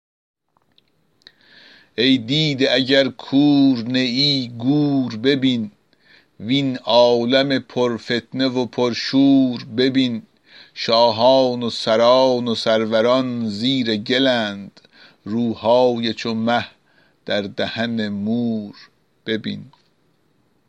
ای دیده اگر کور نیی گور ببین وین عالم پر فتنه و پر شور ببین شاهان و سران و سروران زیر گلند روهای چو مه در دهن مور ببین